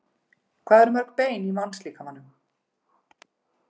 Hvað eru mörg bein í mannslíkamanum?